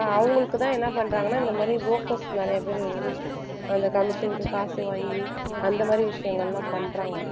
அவங்களுக்குதான் என்ன பண்றாங்கன்னா இந்த மாதிரி brokers நிறைய பேர் இருந்து அந்த commission க்கு காசு வாங்கி அந்த மாதிரி விஷயங்கள் எல்லாம் பண்றாங்க